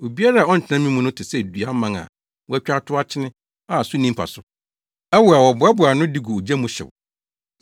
Obiara a ɔntena me mu no te sɛ dua mman a wɔatwa atow akyene a so nni mfaso; ɛwo a wɔboaboa ano de gu ogya mu hyew.